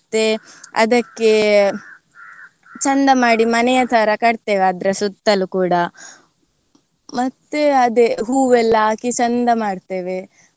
ಮತ್ತೆ ಅದಕ್ಕೆ ಚಂದ ಮಾಡಿ ಮನೆಯ ತರ ಕಟ್ತೇವೆ ಅದರ ಸುತ್ತಲೂ ಕೂಡ ಮತ್ತೆ ಅದೇ ಹೂವೆಲ್ಲ ಹಾಕಿ ಚೆಂದ ಮಾಡ್ತೇವೆ